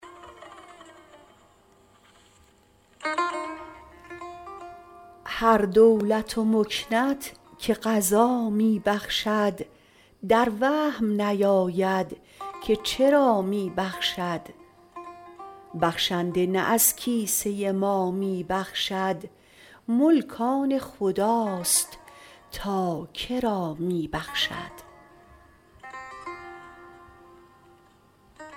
هر دولت و مکنت که قضا می بخشد در وهم نیاید که چرا می بخشد بخشنده نه از کیسه ما می بخشد ملک آن خداست تا کرا می بخشد